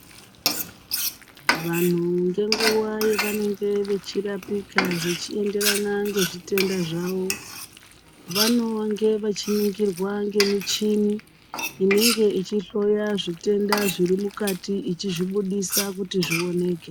Vanhu ngenguwa yevanenge vechirapika zvichiyenderana ngezvitenda zwawo, vanonge vachiningirwa ngemichini, inenge ichihloya zvitenda zvirimukati, ichizvibudisa kuti zviwoneke.